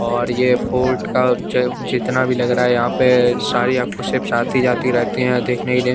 और ये पोर्ट का जो जितना भी लग रहा है यहाँ पे शाही आपको साथ ही जाती रहती है देखने के लिए--